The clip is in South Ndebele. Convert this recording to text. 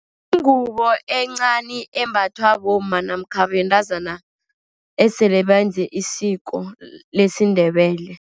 Yingubo encani embathwa bomma, namkha bentazana esele benze isiko lesiNdebele.